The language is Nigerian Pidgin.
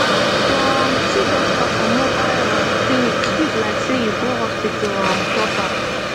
ah to um see doctor for mobile um clinic sweet like sey you go hospital um proper